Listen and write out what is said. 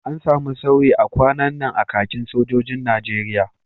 An samu sauyi a kwanan nan a kakin sojojin Najeriya